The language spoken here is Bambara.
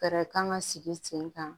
Fɛɛrɛ kan ka sigi sen kan